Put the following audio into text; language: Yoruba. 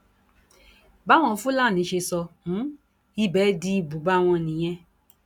báwọn fúlàní ṣe sọ um ibẹ di ibùba wọn nìyẹn